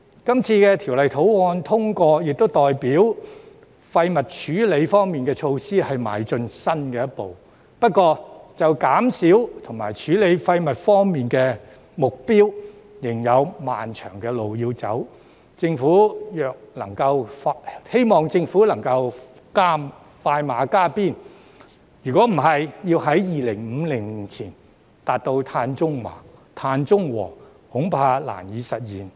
今次《條例草案》獲通過，亦代表廢物處理方面的措施邁出新的一步，不過就減少和處理廢物方面的目標，仍有漫長的路要走，希望政府能夠快馬加鞭，否則要在2050年前達至碳中和，恐怕難以實現。